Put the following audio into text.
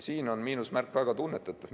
Siin on miinusmärk väga tunnetatav.